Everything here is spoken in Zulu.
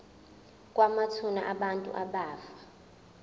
kwamathuna abantu abafa